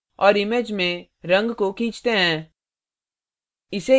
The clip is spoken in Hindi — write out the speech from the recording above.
और image में रंग को खींचते हैं